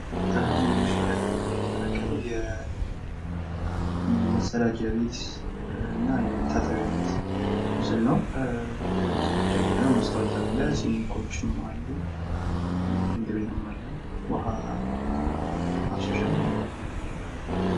አሁን ምስሉ ላይ የምንመለከተው የመፀዳጃ ቤት እና የመታጠቢያ ቤት ምስል ነው። እና መስታወት አለ ሲንኮችም አሉ። ሽንት ቤትም አለ ውሀ ማፍሰሻም አለ።